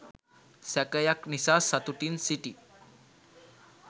සැකයක් නිසා සතුටින් සිටි